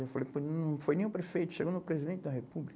Eu falei, pô, não foi nem o prefeito, chegou no presidente da república.